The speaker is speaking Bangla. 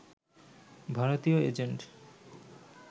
ভারতীয় এজেন্ট